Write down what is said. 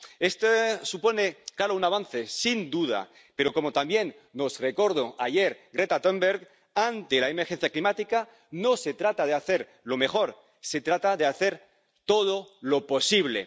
Esto supone un claro avance, sin duda, pero —como también nos recordó ayer Greta Thunberg— ante la emergencia climática no se trata de hacer lo mejor, se trata de hacer todo lo posible.